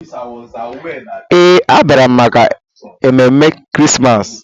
Ee, a bịara m maka ememe Krismas.